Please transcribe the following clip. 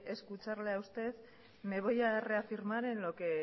escucharle a usted me voy a reafirmar en lo que